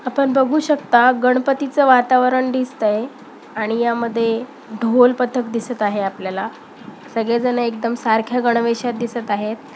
आपण बघू शकता गणपतीच वातावरण दिसतय आणि यामध्ये ढोल पथक दिसत आहे आपल्याला सगळेजण एकदम सारख्या गणवेशात दिसत आहेत.